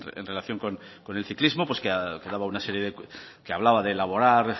en relación con el ciclismo pues que daba una serie de que hablaba de elaborar